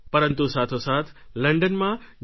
પરંતુ સાથોસાથ લંડનમાં જ્યાં ડૉ